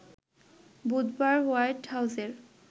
বুধবার হোয়াইট হাউজের